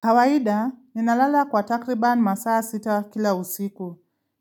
Kawaida ninalala kwa takriban masaa sita kila usiku.